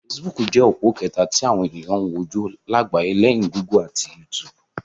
Fesibúùkù jẹ́ òpó kẹta tí àwọn ènìyàn ń wò jù lágbàyé, léyìn Gúgù ati YouTube.